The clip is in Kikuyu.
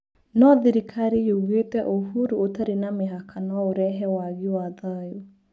No thirikari yugĩte ũhuru ũtarĩ na mĩhaka no ũrehe wagi wa thayũ.